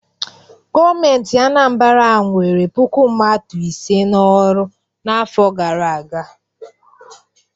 Gọọmentị Anambara nwere puku mmadụ ise n'ọrụ n'afọ gara aga.